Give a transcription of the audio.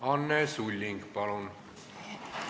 Anne Sulling, palun!